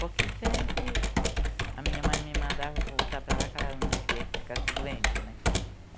Porque sempre a minha mãe me mandava voltar para lá porque ela não queria que eu ficasse doente, né?